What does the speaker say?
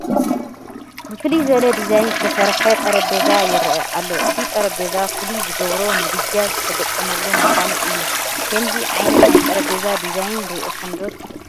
ብፍልይ ዝበለ ዲዛይን ዝተሰርሐ ጠረጴዛ ይርአ ኣሎ፡፡ እዚ ጠረጴዛ ፍሉይ ዝገብሮ ምድጃ ዝተገጠመሉ ምዃኑ እዩ፡፡ ከምዚ ዓይነት ናይ ጠረጴዛ ዲዛይን ርኢኹም ዶ ትፈልጡ?